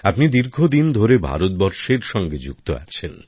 আপনি দীর্ঘদিন ধরে ভারতবর্ষের সঙ্গে জড়িয়ে আছেন